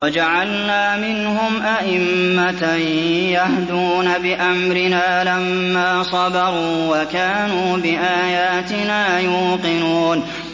وَجَعَلْنَا مِنْهُمْ أَئِمَّةً يَهْدُونَ بِأَمْرِنَا لَمَّا صَبَرُوا ۖ وَكَانُوا بِآيَاتِنَا يُوقِنُونَ